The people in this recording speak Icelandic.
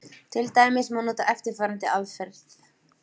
Til dæmis má nota eftirfarandi aðferð: